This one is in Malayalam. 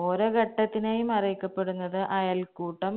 ഓരോ ഘട്ടത്തിനെയും അറിയിക്കപ്പെടുന്നത് അയൽക്കൂട്ടം